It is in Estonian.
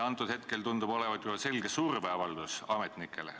See tundub olevat selge surveavaldus ametnikele.